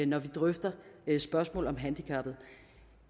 når vi drøfter spørgsmål om handicappede